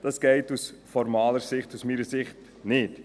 » Das geht aus formaler Sicht und aus meiner Sicht nicht.